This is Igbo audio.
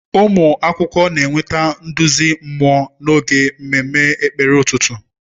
Ụmụ akwụkwọ na-enweta nduzi mmụọ n'oge mmemme ekpere ụtụtụ.